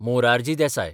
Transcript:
Morarji Desai